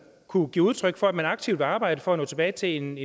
kunne give udtryk for at man aktivt vil arbejde for at nå tilbage til en